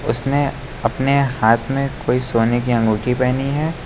उसने अपने हाथ में कोई सोने की अंगूठी पहनी है।